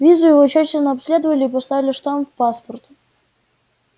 визу его тщательно обследовали и поставили штамп в паспорт